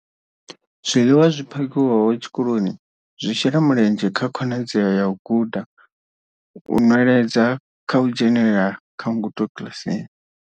Zwiḽiwa zwi phakhiwaho tshikoloni zwi shela mulenzhe kha khonadzeo ya u guda, u nweledza na u dzhenela kha ngudo kiḽasini.